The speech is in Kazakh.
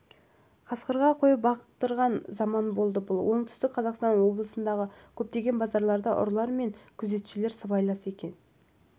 қасқырға қой бақтырған заман болды бұл оңтүстік қазақстан облысындағы көптеген базарларда ұрылар мен күзетшілер сыбайлас екен